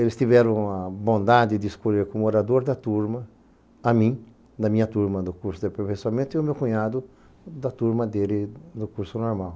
Eles tiveram a bondade de escolher como orador da turma a mim, da minha turma no curso de aperfeiçoamento, e o meu cunhado da turma dele no curso normal.